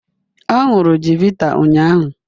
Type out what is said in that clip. Ọ ṅụrụ chivita ụnyahụ